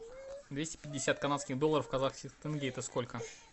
двести пятьдесят канадских долларов в казахских тенге это сколько